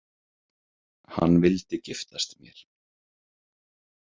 Hann vildi giftast mér